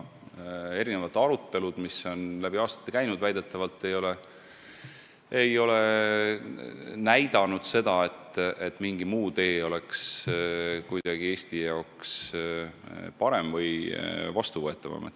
Asja on läbi aastate arutatud, aga väidetavalt ei ole näidatud, et mingi muu tee oleks Eesti jaoks kuidagi parem või vastuvõetavam.